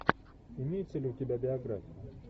имеется ли у тебя биография